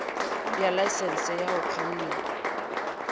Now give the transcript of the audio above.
ya laesense ya ho kganna